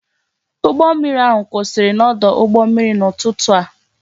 Ụgbọ mmiri ahụ kwụsịrị n'ọdụ ụgbọ mmiri n'ụtụtụ a